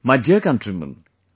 My dear countrymen,